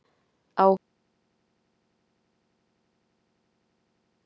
Áhugi Boga liggur í tónlist.